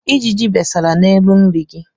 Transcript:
Ijiji besara n'elu nri gị.